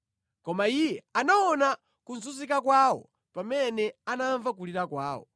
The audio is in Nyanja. Koma Iye anaona kuzunzika kwawo pamene anamva kulira kwawo;